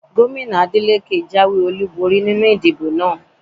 Gómìnà Adeleke jáwé olúborí nínú ìdìbò àná